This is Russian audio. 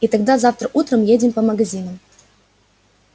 и тогда завтра утром едем по магазинам